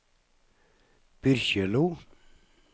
Byrkjelo